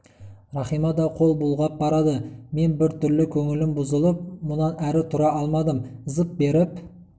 рахима да қол бұлғап барады мен бір түрлі көңілім бұзылып мұнан әрі тұра алмадым зып беріп